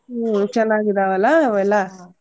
ಹ್ಮ್ ಚನ್ನಾಗಿದ್ದವಲ್ಲ ಅವೆಲ್ಲಾ.